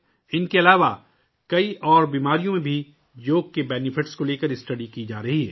ان کے علاوہ کئی دیگر بیماریوں میں بھی یوگا کے فوائد کے بارے میں مطالعہ کیا جا رہا ہے